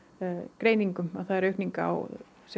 greiningum að það er aukning á